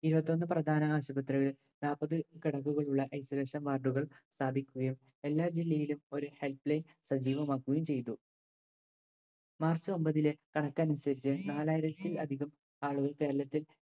ഇരുപത്തൊന്ന് പ്രധാന ആശുപത്രികളിൽ നാപ്പത് കെടക്കകളുള്ള isolution ward കൾ സ്ഥാപിക്കുകയും എല്ലാ ജില്ലയിലും ഒരു help line സജീവമാക്കുകയും ചെയ്തു മാർച്ച് ഒമ്പതിലെ കണക്കനുസരിച്ച് നാലായിരത്തിൽ അധികം ആളുകൾ കേരളത്തിൽ